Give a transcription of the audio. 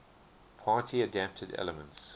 party adapted elements